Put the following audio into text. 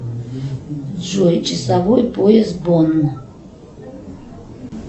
джой часовой пояс бонн